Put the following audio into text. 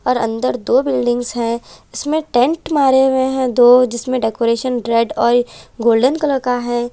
और अंदर दो बिल्डिंग्स हैं जिसमें टैंट मारे हुए हैं दो जिसमें डेकोरेशन रेड और गोल्डन कलर का हैं।